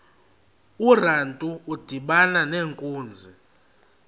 urantu udibana nenkunzi